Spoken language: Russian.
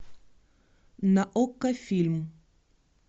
на окко фильм